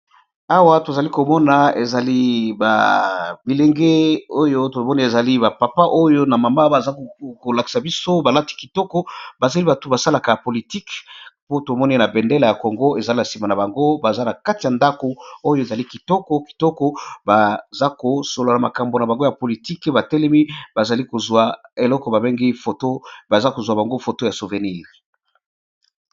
Awa tozali komona ezali bilenge oyo tomoni ezali ba papa oyo na mama baza kolakisa biso balati kitoko bazali bato basalaka ya politike po tomoni na bendela ya congo ezali na sima na bango baza na kati ya ndako oyo ezali kitoko baza kosola na makambo na bango ya politique batelemi bazali kozwa eloko babengi foto baza kozwa bango foto ya souvenir.